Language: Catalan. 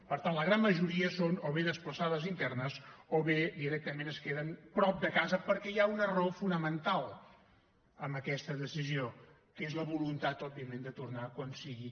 per tant la gran majoria són o bé desplaçades internes o bé directament es queden prop de casa perquè hi ha una raó fonamental en aquesta decisió que és la voluntat òbviament de tornar quan sigui